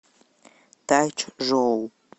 тайчжоу